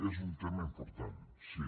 és un tema important sí